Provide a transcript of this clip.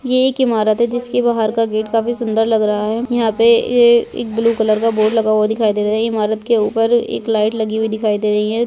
ये एक ईमारत है जिसके बाहर का गेट काफी सुंदर लग रहा है यहाँ पे ये एक ब्लू कलर का बोर्ड लगा हुआ दिखाई दे रहा है ईमारत के ऊपर एक लाइट लगी हुई दिखाई दे रही हैं।